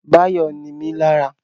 Báyọ̀ nimí lára